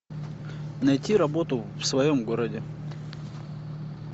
найти работу в своем городе